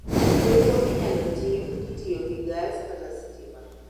Chweko inyalo tim kitiyo gi gas kata sitima